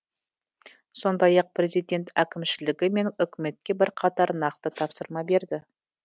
сондай ақ президент әкімшілігі мен үкіметке бірқатар нақты тапсырма берді